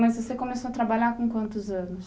Mas você começou a trabalhar com quantos anos?